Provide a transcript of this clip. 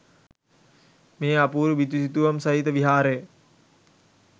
මේ අපුරු බිතු සිතුවම් සහිත විහාරය